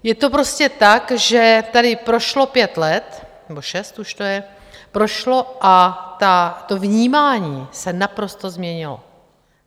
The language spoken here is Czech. Je to prostě tak, že tady prošlo pět let, nebo šest už to je, prošlo, a to vnímání se naprosto změnilo.